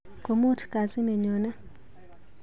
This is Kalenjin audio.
Komuut kazi nenyone.